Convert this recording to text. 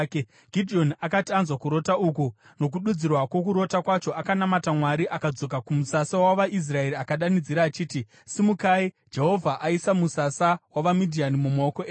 Gidheoni akati anzwa kurota uku nokududzirwa kwokurota kwacho, akanamata Mwari. Akadzoka kumusasa wavaIsraeri akadanidzira achiti, “Simukai! Jehovha aisa musasa wavaMidhiani mumaoko enyu.”